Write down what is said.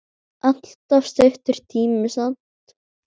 Allt of stuttur tími samt.